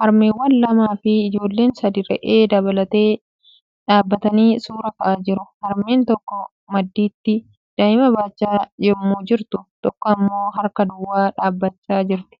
Harmeewwan lamaa fi ijoolleen sadii re'ee dabalatee dhaabatanii suura ka'aa jiru. Harmeen tokko maddiitti daa'ima baachaa yemmuu jirtu tokko immoo harka duwwaa dhaabachaa jirti.